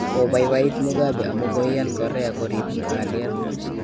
kobaibait Mugabe amu koiyan korea korib kaalyeet